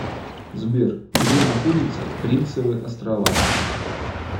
сбер где находится принцевы острова